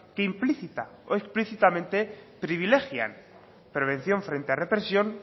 que implícita o explícitamente privilegian prevención frente a represión